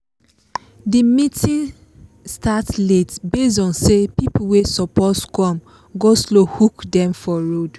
the meeting start late based on say people wey suppose come go-slow hook dem for road